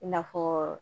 I n'a fɔ